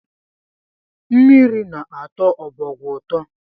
Mmiri na-atọ ọbọgwụ ụtọ